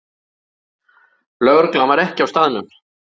Lögreglan var ekki á staðnum